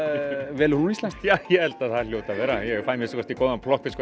velur hún íslenskt já ég held að það hljóti að vera ég fæ að minnsta kosti góðan plokkfisk